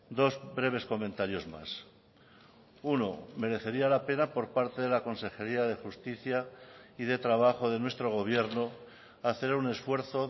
dos breves comentarios más uno merecería la pena por parte de la consejería de justicia y de trabajo de nuestro gobierno hacer un esfuerzo